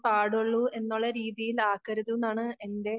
പാടുള്ളൂ എന്ന് ഒരു രീതിയിലാക്കരുതുന്നാണ് എൻറെ